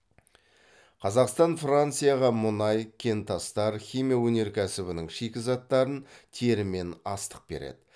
қазақстан францияға мұнай кентастар химия өнеркәсібінің шикізаттарын тері мен астық береді